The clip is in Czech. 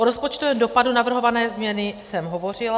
O rozpočtovém dopadu navrhované změny jsem hovořila.